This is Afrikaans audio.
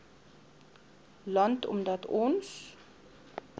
land omdat ons